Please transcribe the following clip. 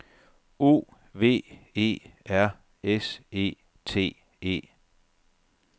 O V E R S E T E